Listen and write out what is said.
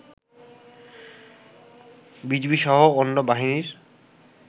BGB সহ অন্য বাহিনীর